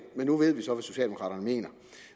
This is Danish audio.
men nu ved vi så hvad socialdemokraterne mener